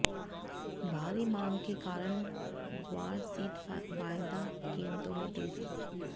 भारी मांग के कारण ग्वारसीड वायदा कीमतों में तेजी